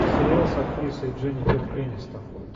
сериал с актрисой дженифер энистон